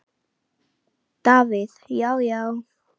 Davíð Já, já.